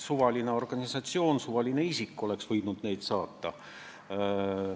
Suvaline organisatsioon, suvaline isik oleks võinud neid saata.